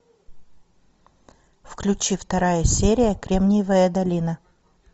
включи вторая серия кремниевая долина